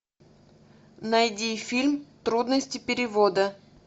найди фильм трудности перевода